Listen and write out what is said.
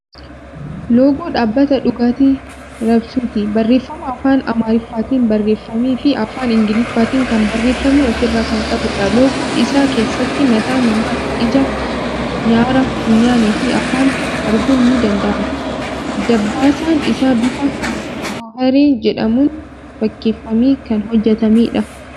Loogoo dhaabata dhugaatii raabsuuti. Barreeffama afaan Amaariffaatin barreeffame fii afaan Ingiliffaatin kan barreeffame ofirraa kan qabuudha. Loogoo isaa keessatti mataa namaa, ija, nyaara funyaanii fii afaan arguun ni danda'ama. Dabbasaan isaa bifa goofaree jedhamuun fakkeeffamee kan hojjatameedha.